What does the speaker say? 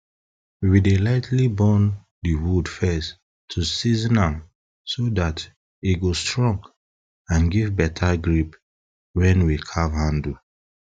we dey lightly burn de wood first to season am so dat e go strong and give beta grip wen we carve handle